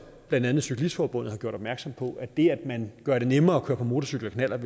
blandt andet cyklistforbundet har gjort opmærksom på at det at man gør det nemmere at køre på motorcykel og knallert